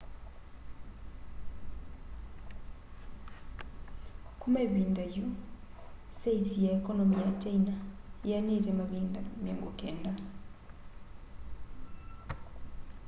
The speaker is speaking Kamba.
kuma ivinda yu saisi ya ekonomi ya kyaina yianite mavinda 90